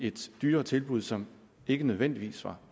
et dyrere tilbud som ikke nødvendigvis var